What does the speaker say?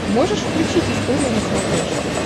можешь включить история на смотрешке